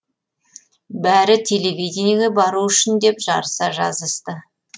бәрі телевидениеге бару үшін деп жарыса жазысты